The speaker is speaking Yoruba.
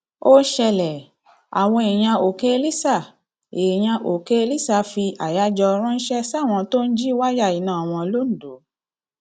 ó ṣẹlẹ àwọn èèyàn òkèlísà èèyàn òkèlísà fi àyájọ ránṣẹ sáwọn tó ń jí wáyà iná wọn londo